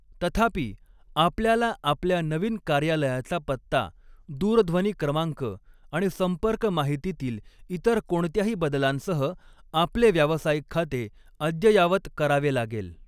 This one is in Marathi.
तथापि, आपल्याला आपल्या नवीन कार्यालयाचा पत्ता, दूरध्वनी क्रमांक आणि संपर्क माहितीतील इतर कोणत्याही बदलांसह आपले व्यावसायिक खाते अद्ययावत करावे लागेल.